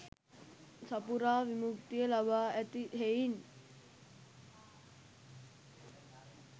සපුරා විමුක්තිය ලබා ඇති හෙයින්